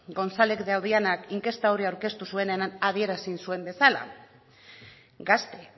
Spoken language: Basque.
inkesta hori aurkeztu zuenean adierazi zuen bezala gazte